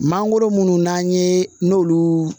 Mangoro munnu n'an ye n'olu